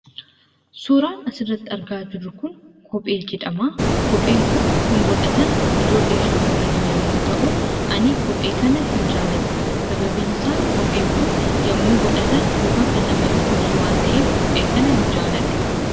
Suuraan asirratti argaa jirru kun kophee jedhama. Kopheen kun kan godhatan ijoollee shamarranii yommuu ta'u, ani kophee kana hin jaaladhu. Sababiin isaa kopheen kun yommuu godhatan luka kan nama dhukkubsu waan ta'eef kophee kana hin jaaladhu.